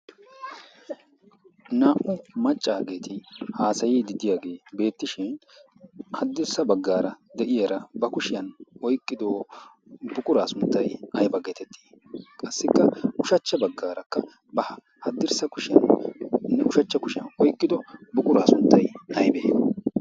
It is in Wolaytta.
naa77u maccaageeti haasayidi diyaagee beettishin haddirssa baggaara de7iyaara ba kushiyan oyqqido buquraa sunttay aybba getettii? qassikka ushachcha baggaarakka ba haddirssa kushiyaninne ushachcha kushiyan oyqqido buquraa sunttay aybbee?